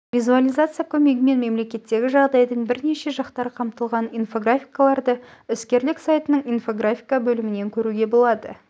визуализация көмегімен мемлекеттегі жағдайдың бірнеше жақтары қамтылған инфографикаларды іскерлік сайтының инфографика бөлімінен көруге болады